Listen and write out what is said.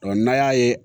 n'an y'a ye